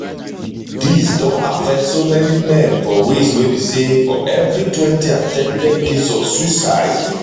dis don affect so many men for ways wey be say for evritwentyattempted case of suicide